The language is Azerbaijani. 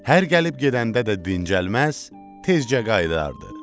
Hər gəlib gedəndə də dincəlməz, tezcə qayıdardı.